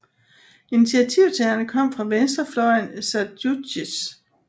Initiativtagerne kom fra venstrefløjen i Sąjūdis